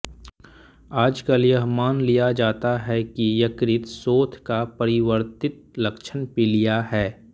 आजकल यह मान लिया जाता है कि यकृत शोथ का परिवर्तित लक्षण पीलिया है